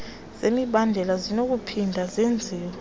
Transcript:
zemibandela zinokuphinda zenziwe